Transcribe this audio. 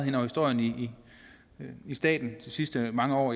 i historien i i staten de sidste mange år